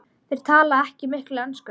Þeir tala ekki mikla ensku.